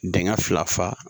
Denkɛ fila fa